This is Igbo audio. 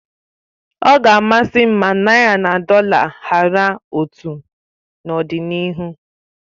Ọ ga amasị m ma naị́ra na dọla hara otu n'ọdịnihu